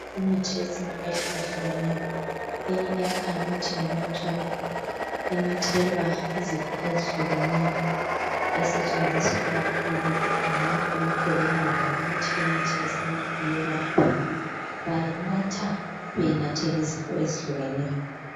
Imithi yesintu ehlukahlukeneyo eminye iyakhanya ukuthi ngenathwayo, enathelwa izifo ezikehlukeneyo esetshenziswa kakhulu ngabantu abakholelwayo ukuthi imithi yesintu iyelapha. Bayinatha beyinathela izifo ezihlukehlukeneyo.